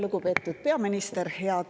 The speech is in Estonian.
Lugupeetud peaminister!